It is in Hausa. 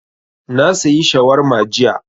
Na sayi shawarma jiya